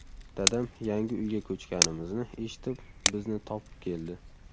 Dadam yangi uyga ko‘chganimizni eshitib, bizni topib keldi.